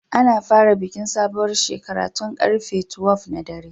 Ana fara bikin sabuwar shekara tun large 12 na dare.